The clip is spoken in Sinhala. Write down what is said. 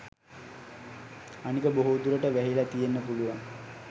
අනික බොහෝ දුරට වැහිල තියෙන්න පුළුවන්